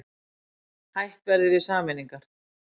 Hætt verði við sameiningar